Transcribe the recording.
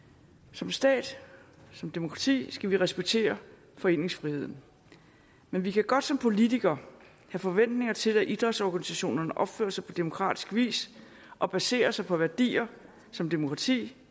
som stat som demokrati skal vi respektere foreningsfriheden men vi kan godt som politikere have forventninger til at idrætsorganisationerne opfører sig på demokratisk vis og baserer sig på værdier som demokrati